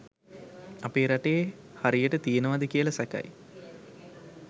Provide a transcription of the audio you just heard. අපේ රටේ හරියට තියෙනවද කියල සැකයි